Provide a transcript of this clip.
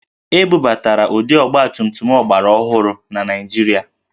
E bubatara ụdị ọgbatumtum ọgbaraọhụrụ na Naịjirịa